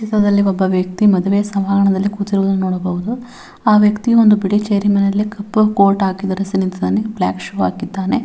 ಚಿತ್ರದಲ್ಲಿ ಒಬ ವ್ಯ ಕ್ತಿ ಮದುವೆ ಸಮಾರಂಭದಲ್ಲಿ ಕೂತಿರುವುದನ್ನು ನೋಡಬಹುದು ಆ ವ್ಯಕ್ತಿ ಒಂದು ಬಿಳಿ ಚೈರ್ ನಲ್ಲಿ ಕಪ್ಪು ಕೋಟ್ ಹಾಕಿ ಧರಿಸಿ ನಿಂತಿದ್ದಾನೆ ಬ್ಲಾಕ್ ಶೂ ಹಾಕಿದ್ದಾನೆ.